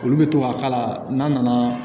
Olu bɛ to ka k'a la n'a nana